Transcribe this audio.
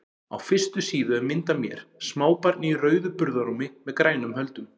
Á fyrstu síðu er mynd af mér, smábarni í rauðu burðarrúmi með grænum höldum.